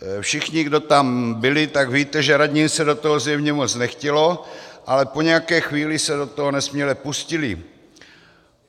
Všichni, kdo tam byli, tak víte, že radním se do toho zjevně moc nechtělo, ale po nějaké chvíli se do toho nesměle pustili.